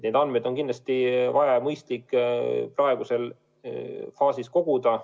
Neid andmeid on kindlasti vaja ja mõistlik praeguses faasis koguda.